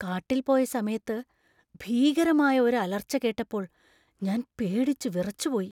കാട്ടിൽ പോയ സമയത്ത് ഭീകരമായ ഒരു അലർച്ച കേട്ടപ്പോൾ ഞാൻ പേടിച്ചു വിറച്ചുപോയി .